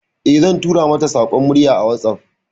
Eh, zan tura mata saƙon murya a WhatsApp.